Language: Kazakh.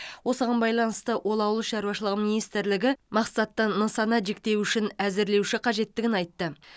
осыған байланысты ол ауыл шаруашылығы министрлігі мақсатты нысана жіктеуішін әзірлеуі қажеттігін айтты